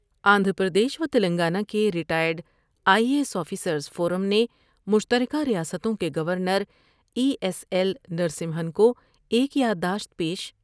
آندھرا پردیش و تلنگانہ کے retired I A S officers forum نے مشتر کہ ریاستوں کے گورنرای ایس ایل نرسمہن کو ایک یادداشت پیش